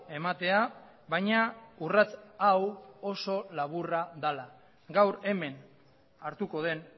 ematea baina urrats hau oso laburra dela gaur hemen hartuko den